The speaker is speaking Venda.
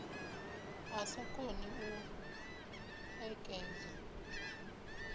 a sa koni u ṋekedza